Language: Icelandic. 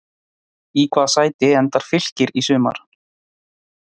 Í hvaða sæti endar Fylkir í sumar?